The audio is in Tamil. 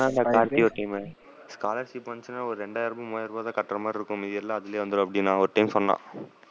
சொன்னான்ல கார்த்தி ஒரு time scholarship வந்துச்சுன்னா ஒரு ரெண்டாயிரமோ மூவாயிரமோ தான் கட்டுற மாறி இருக்கும். மீதி எல்லாம் அதுலயே வந்துரும் அப்படின்னு ஒரு time சொன்னான்.